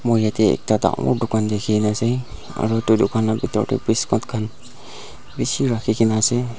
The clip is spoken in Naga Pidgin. moi yate ekta dangor dukan dekhi kane ase aru dukan la biscuit khan bishi rakhi kena ase.